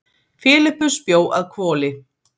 filippus bjó að hvoli